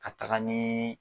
Ka taga ni.